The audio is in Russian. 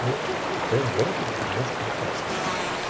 ну откровенно говоря как бы немножко опасненько